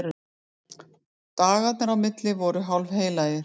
Dagarnir á milli voru hálfheilagir.